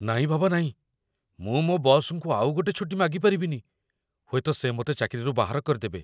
ନାଇଁ ବାବା ନାଇଁ, ମୁଁ ମୋ' ବସ୍‌ଙ୍କୁ ଆଉଗୋଟେ ଛୁଟି ମାଗିପାରିବିନି । ହୁଏତ ସେ ମତେ ଚାକିରିରୁ ବାହାର କରିଦେବେ ।